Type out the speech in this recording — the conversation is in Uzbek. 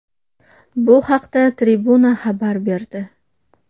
Bu haqda Tribuna xabar berdi .